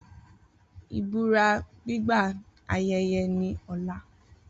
Ibura gbigba ayeye ni ọla